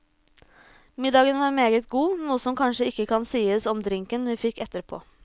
Middagen var meget god, noe som kanskje ikke kan sies om drinken vi fikk etterpå.